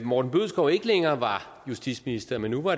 morten bødskov ikke længere var justitsminister men var